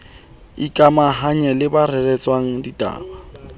ikamahanya le ba reretsweng ditaba